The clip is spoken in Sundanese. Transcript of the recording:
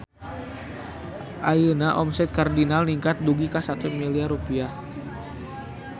Ayeuna omset Cardinal ningkat dugi ka 1 miliar rupiah